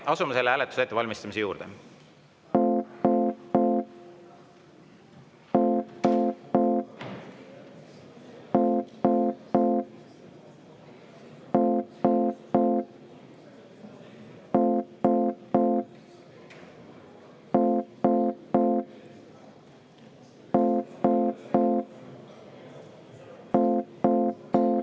Asume selle hääletuse ettevalmistamise juurde.